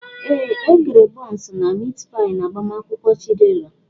Ee, E kere bọns na mit pai n'agbamakwụkwọ Chidera.